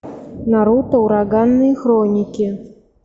наруто ураганные хроники